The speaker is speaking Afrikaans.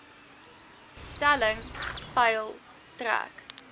stelling peil trek